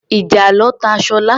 Ìjàlọ ta Sola.